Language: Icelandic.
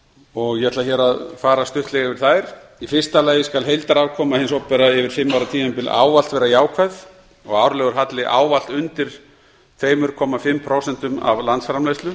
og ég ætla hér að fara stuttlega yfir þær í fyrsta lagi skal heildarafkoma hins opinbera yfir fimm ára tímabil ávallt vera jákvæð og árlegur halli ávallt undir tuttugu og fimm prósent af landsframleiðslu